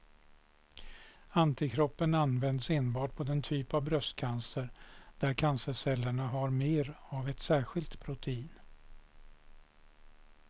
Antikroppen används enbart på den typ av bröstcancer där cancercellerna har mer av ett särskilt protein.